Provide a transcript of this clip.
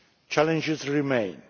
Challenges remain.